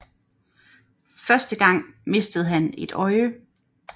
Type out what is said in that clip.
Første gang mistede han et øje